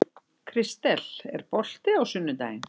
Kristel, er bolti á sunnudaginn?